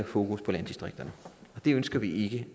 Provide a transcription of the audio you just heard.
fokus på landdistrikterne og det ønsker vi